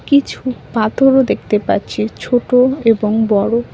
কিছু পাথরও দেখতে পাচ্ছি ছোট এবং বড়।